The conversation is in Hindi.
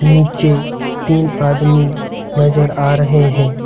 नीचे तीन आदमी नजर आ रहे हैं।